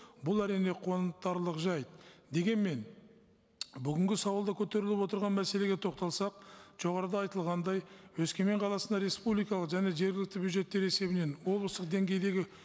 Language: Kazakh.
бұл әрине қуантарлық жайт дегенмен бүгінгі сауалда көтеріліп отырған мәселеге тоқталсақ жоғарыда айтылғандай өскемен қаласында республикалық және жергілікті бюджеттер есебінен облыстық деңгейдегі